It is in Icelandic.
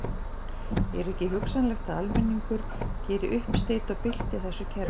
Er ekki hugsanlegt að almenningur geri uppsteyt og bylti þessu kerfi?